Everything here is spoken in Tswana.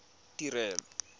tirelo